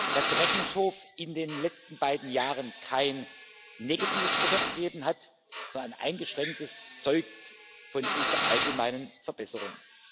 Dass der Rechnungshof in den letzten beiden Jahren kein negatives Urteil abgegeben hat, sondern ein eingeschränktes, zeugt von dieser allgemeinen Verbesserung.